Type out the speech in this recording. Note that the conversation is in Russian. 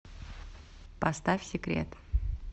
поставь секрет